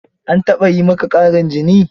An taɓa yi maka ƙarin jini?